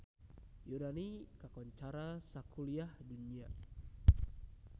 Yunani kakoncara sakuliah dunya